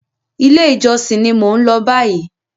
Ilé ìjosìn ní mo n lọ báyìí.